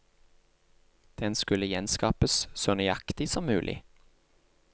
Den skulle gjenskapes så nøyaktig som mulig.